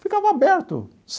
Ficava aberto.